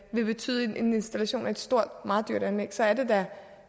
vil betyde en installation af et stort og meget dyrt anlæg så er det herre